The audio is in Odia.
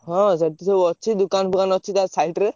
ହଁ ସେଠି ସବୁ ଅଛି ଦୋକାନ ଫୋକାନ ଅଛି ତା side ରେ।